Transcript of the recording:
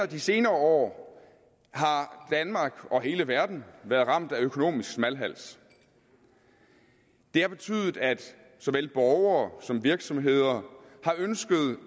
de senere år har danmark og hele verden være ramt af økonomisk smalhals det har betydet at såvel borgere som virksomheder har ønsket